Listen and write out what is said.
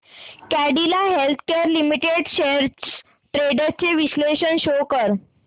Cadila healthcare limited shares trends चे विश्लेषण show कर